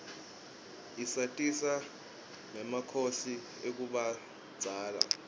isatisa rgemakhosi akubdzala